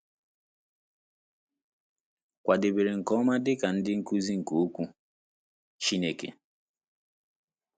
Kwadebere nke ọma dị ka ndị nkuzi nke Okwu Chineke